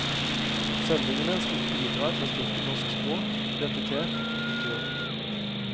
Sendingene skal bidra til å styrke norsk språk, identitet og kultur.